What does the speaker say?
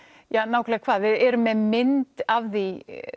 hvað ja við erum með mynd af því